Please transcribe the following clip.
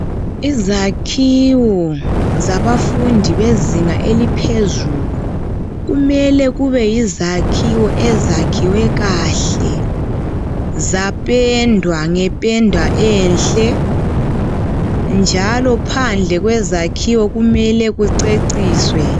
Izakhiwo zabafundi bezinga eliphezulu, kumele kube yizakhiwo ezakhiwe kahle zapendwa ngependa enhle, njalo phandle kwezakhiwo kumele kuceciswe.